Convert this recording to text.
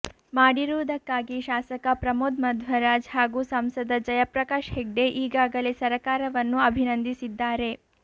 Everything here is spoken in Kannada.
ಮಾಡಿರುವುದಕ್ಕಾಗಿ ಶಾಸಕ ಪ್ರಮೋದ್ ಮಧ್ವರಾಜ್ ಹಾಗೂ ಸಂಸದ ಜಯಪ್ರಕಾಶ್ ಹೆಗ್ಡೆ ಈಗಾಗಲೇ ಸರಕಾರವನ್ನು ಅಭಿನಂದಿಸಿದ್ದಾರೆ